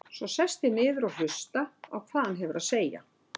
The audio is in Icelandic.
Svo ég sest niður og hlusta á hvað hann hefur að segja.